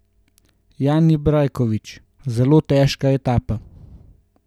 Jani Brajkovič: "Zelo težka etapa.